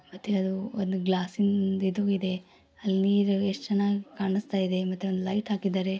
ಮತ್ತೆ ಅದು ಒಂದು ಗ್ಲಾಸ್ಸಿಂದ್ ಇದು ಇದೆ. ಅಲ್ಲಿ ನೀರು ಎಷ್ಟ್ ಚೆನ್ನಾಗಿ ಕಾಣಿಸ್ತಾಯಿದೆ ಮತ್ತೆ ಒಂದು ಲೈಟ್ ಹಾಕಿದ್ದಾರೆ.